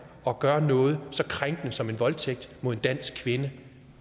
og gør noget så krænkende som at øve voldtægt mod en dansk kvinde